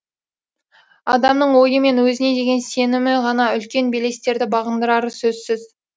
адамның ойы мен өзіне деген сенімі ғана үлкен белестерді бағындырары сөзсіз